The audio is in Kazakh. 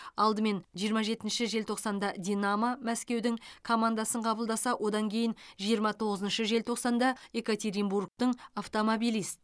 алдымен жиырма жетінші желтоқсанда динамо мәскеудің командасын қабылдаса одан кейін жиырма тоғызыншы желтоқсанда екатеринбургтың автомобилист